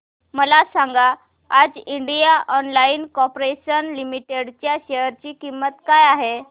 मला सांगा आज इंडियन ऑइल कॉर्पोरेशन लिमिटेड च्या शेअर ची किंमत काय आहे